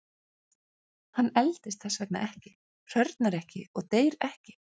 Hann eldist þess vegna ekki, hrörnar ekki og deyr ekki.